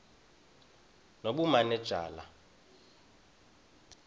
nobumanejala